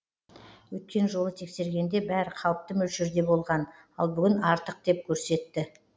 өткен жолы тексергенде бәрі қалыпты мөлшерде болған ал бүгін артық деп көрсетті